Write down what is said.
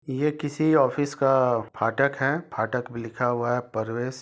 यह किसी ऑफिस का फाटक हैफाटक भि लिखा हुआ है प्रवेश की --